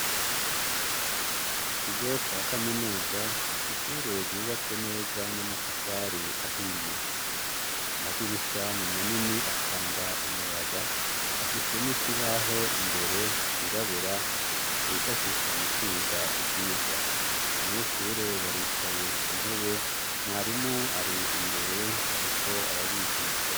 Mu kigo ca kaminuza ishure ryubatse neza n'amatafari ahiye. Amadirisha ni manini atanga umuyaga, afise n'ikibaho imbere cirabura bifashisha mu kwiga ivyigwa. Abanyeshure baricaye ku ntebe, mwarimu ari imbere ariko arabigisha.